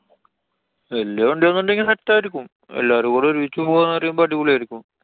വല്യ വണ്ട്യാന്നുണ്ടെങ്കി set ആയിരിക്കും. എല്ലാരും കൂടി ഒരുമിച്ചു പൊവാന്നുപറയുമ്പൊ അടിപൊളി ആയിരിക്കും.